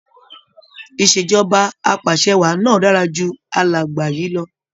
Ìṣèjọba apàṣẹwàá náà dára ju alàgbà yìí lọ.